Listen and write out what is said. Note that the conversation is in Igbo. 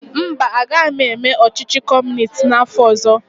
Mba, agaghị m eme ọchịchị Kọmunist n'afọ ọzọ.